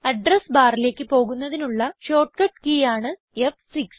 address ബാറിലേക്ക് പോകുന്നതിനുള്ള shortcut key ആണ് ഫ്6